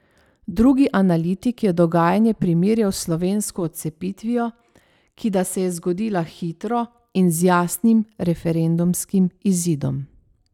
Drugi analitik je dogajanje primerjal s slovensko odcepitvijo, ki da se je zgodila hitro in z jasnim referendumskim izidom.